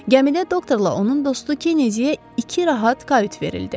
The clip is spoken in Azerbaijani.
Gəmidə doktorla onun dostu Kennediyə iki rahat kayut verildi.